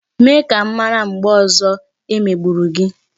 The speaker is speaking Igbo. Mee ka m mara mgbe ọzọ o megburu gị